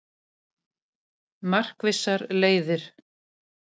Markvissar leiðir